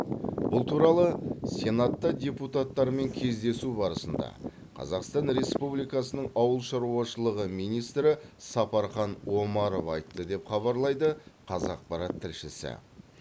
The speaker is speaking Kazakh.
бұл туралы сенатта депутаттармен кездесу барысында қазақстан республикасында ауыл шаруашылығы министрі сапархан омаров айтты деп хабарлайды қазақпарат тілшісі